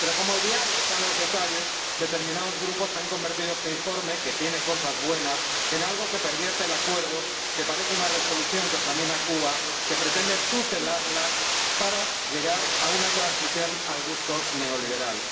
Pero como el diablo está en los detalles, determinados grupos han convertido este informe, que tiene cosas buenas, en algo que pervierte el Acuerdo, que parece una Resolución que examina a Cuba, que pretende tutelarla para llegar a una transición al gusto neoliberal.